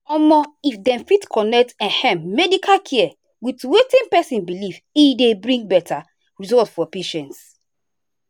omo if dem fit connect ehm medical care with wetin person believe e dey bring better result for patients.